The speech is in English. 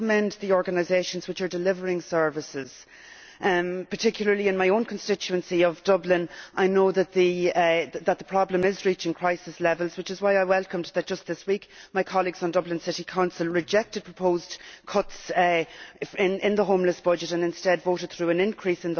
I want to commend the organisations which are delivering services. Particularly in my own constituency of Dublin, I know that the problem is reaching crisis levels, which is why I welcome the fact that just this week my colleagues on Dublin City Council rejected proposed cuts in the homeless budget and instead voted through an increase.